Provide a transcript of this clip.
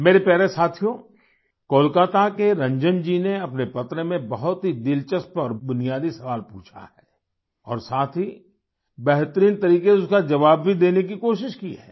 मेरे प्यारे साथियो कोलकाता के रंजन जी ने अपने पत्र में बहुत ही दिलचस्प और बुनियादी सवाल पूछा है और साथ ही बेहतरीन तरीके से उसका जवाब भी देने की कोशिश की है